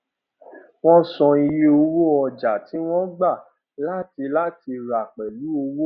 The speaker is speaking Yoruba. wọn san iye owó ọjà tí wọn gba láti láti rà pẹlú owó